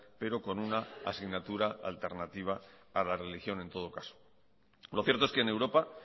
pero con una asignatura alternativa a la religión en todo caso lo cierto es que en europa